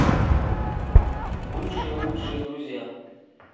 бывшие лучшие друзья